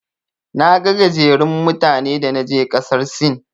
Naga gajerun mutane da naje ƙasar Sin.